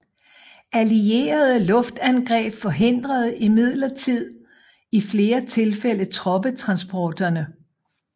Allierede luftangreb forhindrede imidlertid i flere tilfælde troppetransporterne